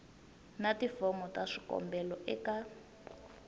na tifomo ta swikombelo eka